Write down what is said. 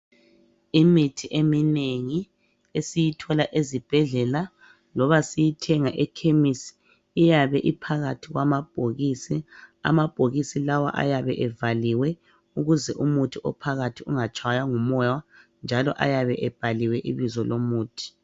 Imithi eminengi esiyithola ezibhedlela loba siyithenga ekhemisi iyabe iphakathi kwamabhokisi . Amabhokisi lawa ayabe evaliwe ukuze umuthi ophakathi ungatshaywa ngumoya njalo ayabe ebhaliwe ibizo lomuthi .